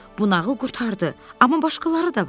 Bu nağıl qurtardı, amma başqaları da var.